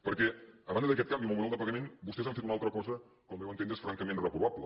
perquè a banda d’aquest canvi en el model de pagament vostès han fet una altra cosa que al meu entendre és francament reprovable